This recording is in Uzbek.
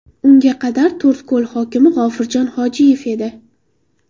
Unga qadar To‘rtko‘l hokimi G‘ofurjon Hojiyev edi.